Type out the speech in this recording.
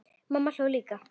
Mamma hló líka.